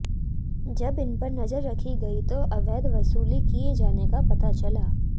जब इन पर नजर रखी गई तो अवैध वसूली किए जाने का पता चला